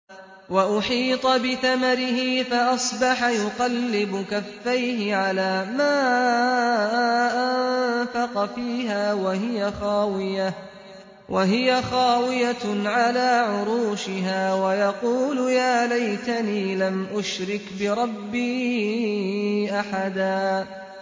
وَأُحِيطَ بِثَمَرِهِ فَأَصْبَحَ يُقَلِّبُ كَفَّيْهِ عَلَىٰ مَا أَنفَقَ فِيهَا وَهِيَ خَاوِيَةٌ عَلَىٰ عُرُوشِهَا وَيَقُولُ يَا لَيْتَنِي لَمْ أُشْرِكْ بِرَبِّي أَحَدًا